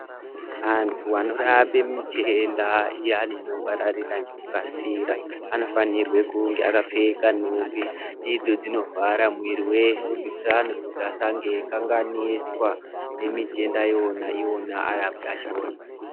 Antu anorape mitenda iyani inopararira ngekukasira anofanirwe kunge akapfeka nhumbi idzo dzinovhara muwiri wese kuitira anhu kuti asange eikanganiswa nemitenda yona iwona arapi achona.